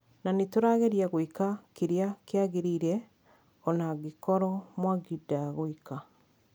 Na nĩtũrageria gwĩka kĩrĩa kĩagĩrĩire ona angikorwo mwangi ndagwĩka